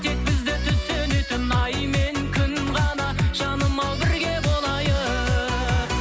тек бізді түсінетін ай мен күн ғана жаным ау бірге болайық